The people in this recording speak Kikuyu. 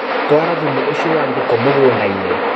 Twara thumu ũcio wa ngũkũ mũgũndainĩ.